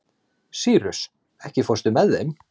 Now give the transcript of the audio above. Sýrus, ekki fórstu með þeim?